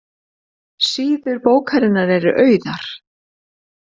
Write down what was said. Síður bókarinnar eru auðar